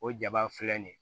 O jaba filɛ nin ye